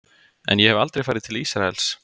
En ég hef aldrei farið til Ísraels.